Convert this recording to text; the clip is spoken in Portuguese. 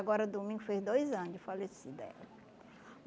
Agora domingo fez dois anos de falecida ela